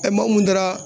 maa mun taara